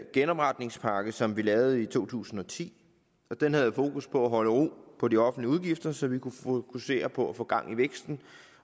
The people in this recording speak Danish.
genopretningspakke som vi lavede i to tusind og ti den havde fokus på at holde ro på de offentlige udgifter så vi kunne fokusere på at få gang i væksten